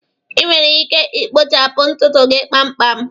Ị nwere ike ikpochapụ ntutu gị kpamkpam